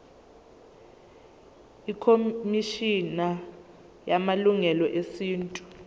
ikhomishana yamalungelo esintu